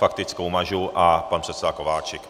Faktickou mažu a pan předseda Kováčik.